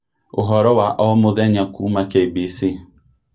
Ũhoro wa o mũthenya kuuma KBC